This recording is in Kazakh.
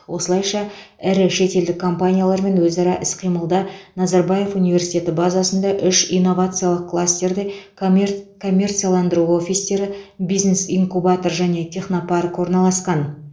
осылайша ірі шетелдік компаниялармен өзара іс қимылда назарбаев университеті базасында үш инновациялық кластерде комер коммерцияландыру офистері бизнес инкубатор және технопарк орналасқан